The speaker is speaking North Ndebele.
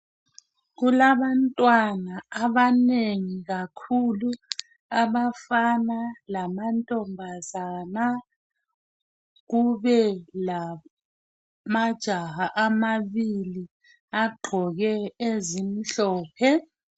Kulabantwana abanengi kakhulu abafana lamantombazana. Kube lamajaha amabili agqoke ezimhlophe.